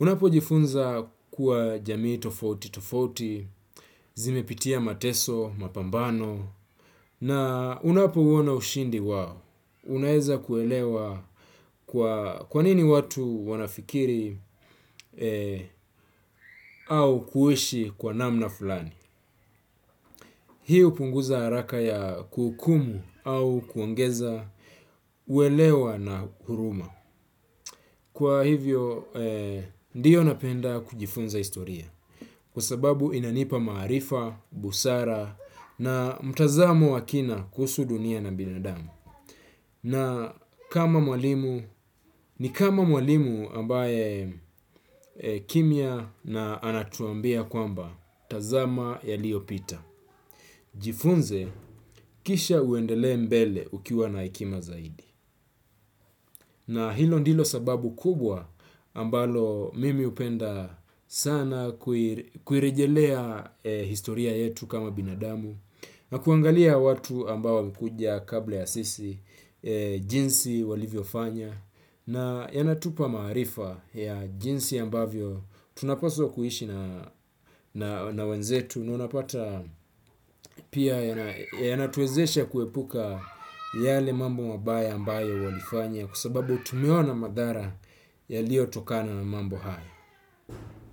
Unapo jifunza kuwa jamii tofauti tofauti, zimepitia mateso, mapambano, na unapo uona ushindi wao. Unaweza kuelewa kwanini watu wanafikiri au kuishi kwa namna fulani. Hii hupunguza haraka ya kuhukumu au au kuongeza uelewa na huruma kwa hivyo, ndio, napenda kujifunza historia kwa sababu inanipa maarifa, busara na mtazamo wa kina kuhusu dunia na binadamu. Na ni kama mwalimu ambaye kimya na anatuambia kwamba tazama yaliopita. Jifunze, kisha uendele mbele ukiwa na hekima zaidi. Na hilo ndilo sababu kubwa ambalo mimi hupenda sana kuirejelea historia yetu kama binadamu. Na kuangalia watu ambao walikuja kabla ya sisi jinsi walivyo fanya na yanatupa maarifa ya jinsi ambavyo tunapaswa kuishi na wenzetu na unapata pia yanatuwezesha kuepuka yale mambo mabaya ambayo walifanya kwa sababu tumeona madhara yaliotokana na mambo haya.